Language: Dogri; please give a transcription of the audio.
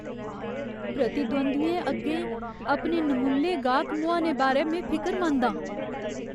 प्रतिद्वंदियें अग्गें अपने नमुल्ले गाह्क मुहाने बारै में फिकरमंद आं।